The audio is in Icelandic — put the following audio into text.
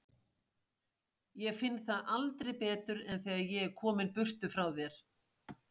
Ég finn það aldrei betur en þegar ég er kominn burtu frá þér.